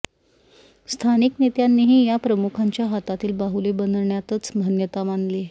स्थानिक नेत्यांनीही या प्रमुखांच्या हातातील बाहूले बनण्यातच धन्यता मानली